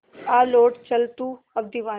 आ लौट चल तू अब दीवाने